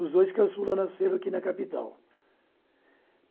Os dois caçulas nasceram aqui na capital.